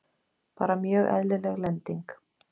Bara mjög eðlileg lending.